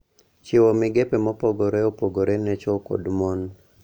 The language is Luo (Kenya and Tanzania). Chiwo migepe mopogore opogore ne chwo kod mon.